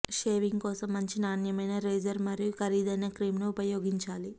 shaving కోసం మంచి నాణ్యమైన రేజర్ మరియు ఖరీదైన క్రీమ్ ను ఉపయోగించాలి